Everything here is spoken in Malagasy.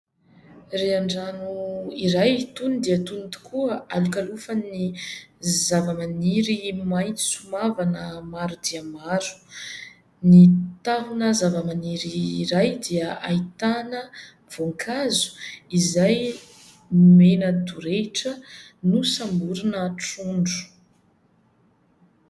Rian-drano iray tony dia tony tokoa, alokalofan'ny zavamaniry maitso mavana maro dia maro. Ny tahona zavamaniry iray dia ahitana voninkazo izay mena midorehitra nosamborina trondro.